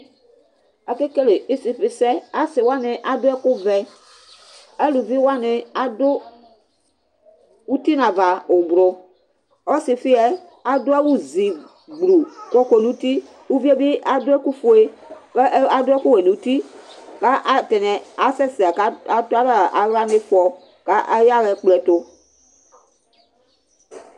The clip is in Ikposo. Akekele isifisɛ, alʋ wani adʋ ɛkʋvɛ, alʋvi wani adʋ uti nʋ ava ʋblʋ, ɔsifiyɛ adʋ awʋzi gbluu kʋ ɔkɔ nʋ uti, evidzedi adʋ ɛkʋfue kʋ adʋ ɛkʋwɛ nʋ ʋti kʋ atani asɛsɛ kʋ adʋ alɛ aɣla nʋ ɩfɔ kʋ ayaxa ɛkplɔ ɛtʋ